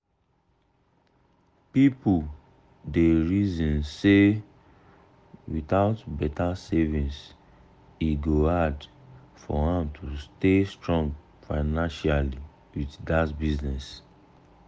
people dey reason say without better savings e go hard for am to stay strong financially with that business.